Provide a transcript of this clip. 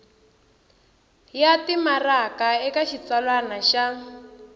ya timaraka eka xitsalwana xa